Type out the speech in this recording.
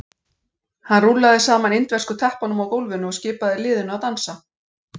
Hann rúllaði saman indversku teppunum á gólfinu og skipaði liðinu að dansa.